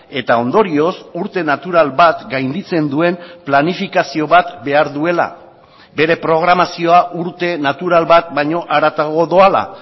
eta ondorioz urte natural bat gainditzen duen planifikazio bat behar duela bere programazioa urte natural bat baino haratago doala